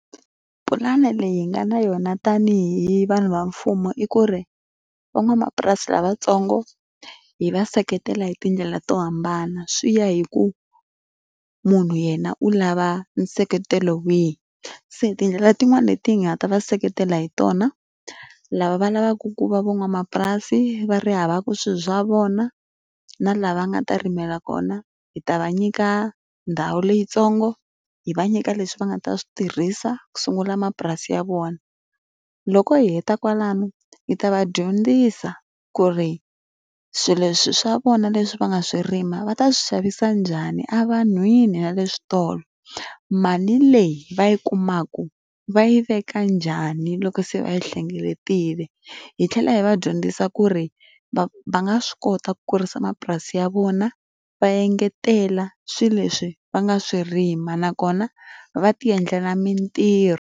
Pulani leyi hi nga na yona tanihi vanhu va mfumo i ku ri, van'wamapurasi lavatsongo hi va seketela hi tindlela to hambana swi ya hi ku munhu yena u lava nseketelo wihi. Se tindlela tin'wani leti hi nga ta va seketela hi tona, lava va lavaku ku va van'wamapurasi va ri hava ku swilo swa vona na laha va nga ta rimela kona, hi ta va nyika ndhawu leyintsongo, hi va nyika leswi va nga ta swi tirhisa ku sungula mapurasi ya vona. Loko hi heta kwalano hi ta va dyondzisa ku ri swilo leswi swa vona leswi va nga swi rima va ta swi xavisa njhani evanhwini na le switolo, mali leyi va yi kumaka va yi veka njhani loko se va yi hlengeletile. Hi tlhela hi va dyondzisa ku ri va va nga swi kota ku kurisa mapurasi ya vona va engetela swilo leswi va nga swi rima nakona, va ti endlela mitirho.